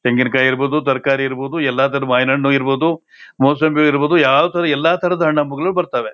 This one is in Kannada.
ತೆಂಗಿನಕಾಯಿ ಇರಬಹುದು ತರಕಾರಿ ಇರಬಹುದು ಎಲ್ಲಾನು ಮಾವಿನಹಣ್ಣು ಇರಬಹುದು ಮೋಸಂಬಿ ಇರಬಹುದು ಯಾವ ತರ ಎಲ್ಲಾ ತರದ ಹಣ್ಣು ಹಂಪಲುಗಳು ಬರತವೇ.